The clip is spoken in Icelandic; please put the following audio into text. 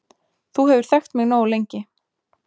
Þú hefur þekkt mig nógu lengi